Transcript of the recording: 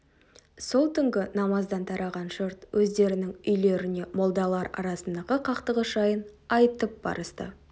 сол түнгі намаздан тараған жұрт өздерінің үйлеріне молдалар арасындағы қақтығыс жайын айтып барысты